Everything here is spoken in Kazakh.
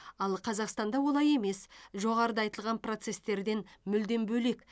ал қазақстанда олай емес жоғарыда айтылған процестерден мүлдем бөлек